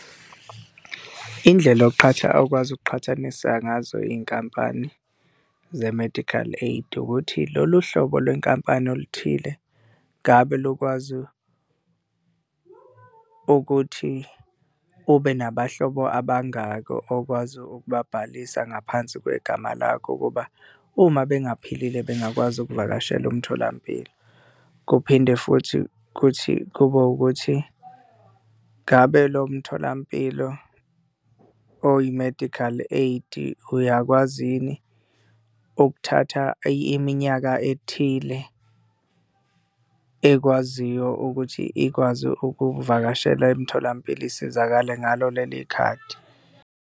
Indlela yokuqhatha, okwazi ukuqhathanisa ngazo iy'nkampani ze-medical aid, ukuthi lolu hlobo lwenkampani oluthile ngabe lukwazi ukuthi ube nabahlobo ababangaki okwazi ukubhalisa ngaphansi kwegama lakho ukuba, uma bengaphilile bengakwazi ukuvakashela umtholampilo? Kuphinde futhi kuthi kube ukuthi ngabe lo mtholampilo oyi-medical aid-i uyakwazi yini ukuthatha iminyaka ethile ekwaziyo ukuthi ikwazi ukuvakashela emtholampilo isizakale ngalo leli khadi?